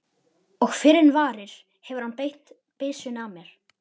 Og fyrr en varir hefur hann beint byssunni að mér.